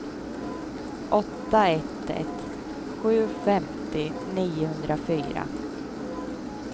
åtta ett ett sju femtio niohundrafyra